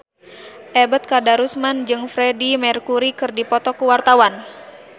Ebet Kadarusman jeung Freedie Mercury keur dipoto ku wartawan